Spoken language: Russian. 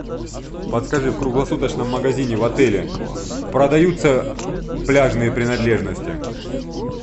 подскажи в круглосуточном магазине в отеле продаются пляжные принадлежности